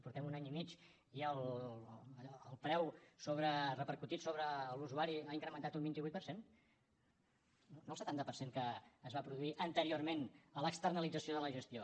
portem un any i mig i el preu repercutit sobre l’usuari ha incrementat un vint vuit per cent no el setanta per cent que es va produir anteriorment a l’externalització de la gestió